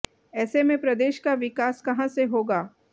ऐसे में प्रदेश का विकास कहां से होगा